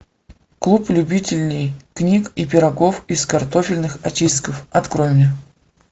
клуб любителей книг и пирогов из картофельных очистков открой мне